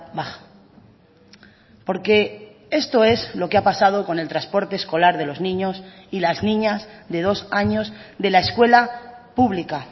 baja porque esto es lo que ha pasado con el transporte escolar de los niños y las niñas de dos años de la escuela pública